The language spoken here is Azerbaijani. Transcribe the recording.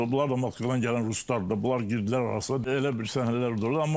Sonra bunlar da Moskvadan gələn ruslardır da, bunlar girdilər arasına, elə bil səhnələr orda oldu.